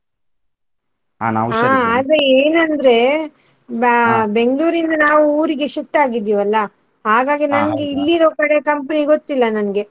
ಆದ್ರೆ ಏನಂದ್ರೆ Ba~ Bangalore ಇಂದ ನಾವ್ ಊರಿಗೆ shift ಆಗಿದಿವಲ್ಲಾ ಹಾಗಾಗಿ ನಂಗೆ ಇಲ್ಲಿ ಇರುವ ಕಡೆ company ಗೊತ್ತಿಲ್ಲ ನಂಗೆ.